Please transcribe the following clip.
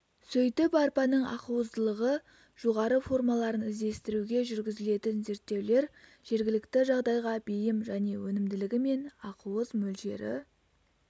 сөйтіп арпаның ақуыздылығы жоғары формаларын іздестіруге жүргізілген зерттеулер жергілікті жағдайға бейім және өнімділігі мен ақуыз мөлшері